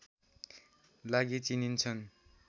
लागि चिनिन्छन्